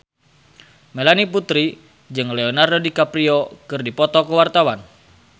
Melanie Putri jeung Leonardo DiCaprio keur dipoto ku wartawan